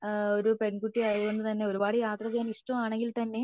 ഒരു പെൺകുട്ടി ആയത്കൊണ്ട് തന്നെ ഒരുപാട് യാത്ര ചെയ്യാൻ ഇഷ്ടമാണെങ്കിൽ തന്നെ